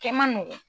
Kɛ man nɔgɔn